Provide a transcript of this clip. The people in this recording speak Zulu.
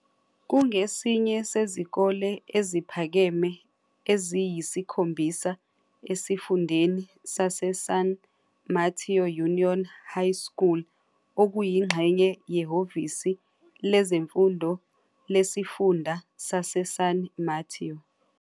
Kungesinye sezikole eziphakeme eziyisikhombisa esifundeni saseSan Mateo Union High School, okuyingxenye yeHhovisi Lezemfundo Lesifunda saseSan Mateo.